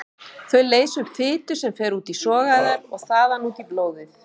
Þau leysa upp fitu sem fer út í sogæðar og þaðan út í blóðið.